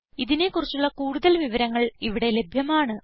ഇതിനെ കുറിച്ചുള്ള കൂടുതൽ വിവരങ്ങൾ ഇവിടെ ലഭ്യമാണ്